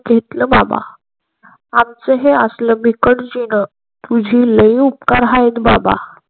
घेतला बाबा आमचा हे असला भिक्त जीन तुझी लै उपकार हैत बाबा.